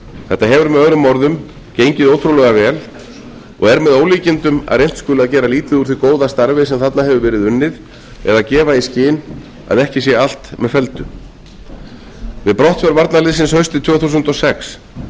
þetta hefur möo gengið ótrúlega vel og er með ólíkindum að reynt skuli að gera lítið úr því góða starfi sem þarna hefur verið unnið eða gefa í skyn að ekki sé allt með felldu við brottför varnarliðinu haustið tvö þúsund og sex